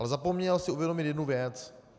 Ale zapomněl si uvědomit jednu věc.